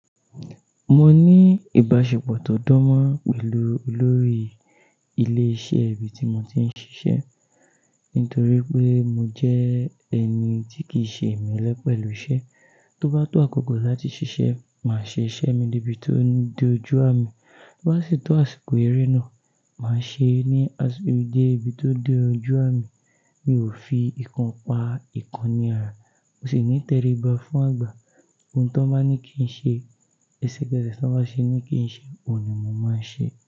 Mo ní ìbáṣepọ̀ tó dán mọ́ pẹ̀lú olórí ilé iṣẹ́ ibi tí mo ti ń ṣiṣẹ́, nítorí pé mo jẹ́ ẹni tí kìí ṣe ìmẹ̀lẹ́ pẹ̀lú iṣẹ́. Tó bá tó àkókò láti ṣiṣẹ́, màá ṣe iṣẹ́ mi dé ibi tó dójú àmì. Tó bá sì tó àsìkò eré náà, màá ṣe é ní de ibi tó dójú àmì. Mi ò fi ìkan pa ìkan ní ara. Mo sì ní ìtẹríba fún àgbà. Ohun tó bá ní kí n ṣe, èsì gẹ́ẹ́sẹ̀ tó bá ṣe ní kí n ṣe, òun ni mo máa ṣe.